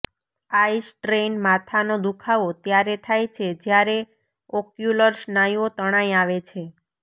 I strain માથાનો દુઃખાવો ત્યારે થાય છે જ્યારે ઑક્યુલર સ્નાયુઓ તણાઈ આવે છે